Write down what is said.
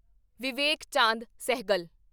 Vivek Chand Sehgal